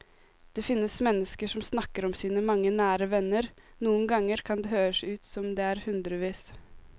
Det finnes mennesker som snakker om sine mange nære venner, noen ganger kan det høres ut som om det er hundrevis.